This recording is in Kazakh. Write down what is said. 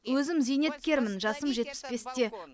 өзім зейнеткермін жасым жетпіс бесте